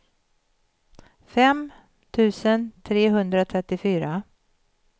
fem tusen trehundratrettiofyra